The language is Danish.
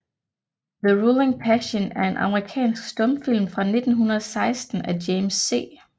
The Ruling Passion er en amerikansk stumfilm fra 1916 af James C